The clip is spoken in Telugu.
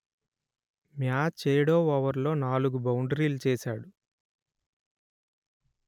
మ్యాచ్ ఏడో ఓవర్లో నాలుగు బౌండరీలు చేశాడు